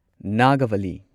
ꯅꯥꯒꯚꯂꯤ